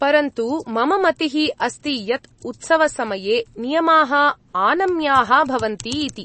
परन्तु मम मतिः अस्ति यत् उत्सवसमये नियमाः आनम्याः भवन्ति इति।